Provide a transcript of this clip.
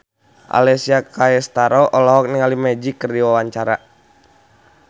Alessia Cestaro olohok ningali Magic keur diwawancara